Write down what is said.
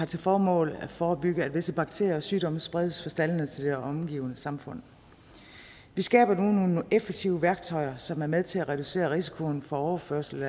til formål at forebygge at visse bakterier og sygdomme spredes fra staldene og til det omgivende samfund vi skaber nu nogle effektive værktøjer som er med til at reducere risikoen for overførsel